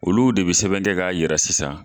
Olu de be sɛbɛn kɛ ka yira sisan